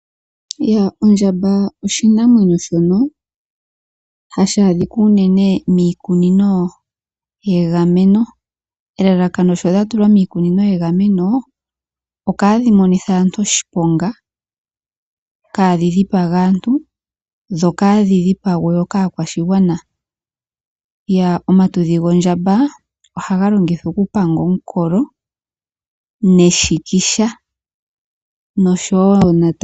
Ondjamba oshinamwenyo shoka hashi adhika uunene miikunino yegameno. Elalako shi dha tulwa miikunino yegameno? Opo kaadhi monithe aantu oshiponga, kaa dhi dhipage aantu, dho kaadhi dhipangwe wo kaakwashigwana. Omatudhi gondjamba ohaga longithwa oku panga omukolo neshikisha.